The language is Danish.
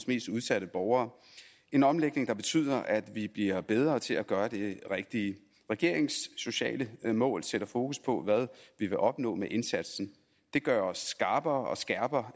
mest udsatte borgere en omlægning der betyder at vi bliver bedre til at gøre det rigtige regeringens sociale mål sætter fokus på hvad vi vil opnå med indsatsen det gør os skarpere og skærper